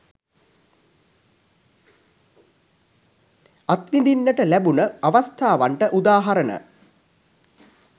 අත්විඳීන්නට ලැබුණ අවස්ථාවන්ට උදාහරණ